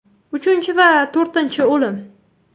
Uchinchi va to‘rtinchi o‘lim.